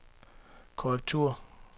korrektur